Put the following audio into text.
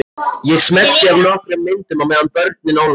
Ég smelli af nokkrum myndum á meðan börnin ólmast.